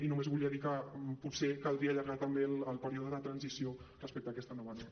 i només volia dir que potser caldria allargar també el període de transició respecte a aquesta nova norma